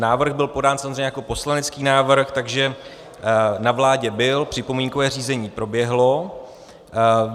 Návrh byl podán samozřejmě jako poslanecký návrh, takže na vládě byl, připomínkové řízení proběhlo.